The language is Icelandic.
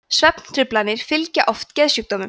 svefntruflanir fylgja oft geðsjúkdómum